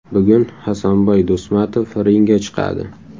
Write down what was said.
Bugun Hasanboy Do‘stmatov ringga chiqadi.